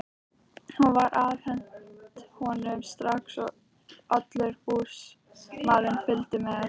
Hún var afhent honum strax og allur búsmalinn fylgdi með.